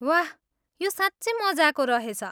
वाह! यो साँच्चै मजाको रहेछ।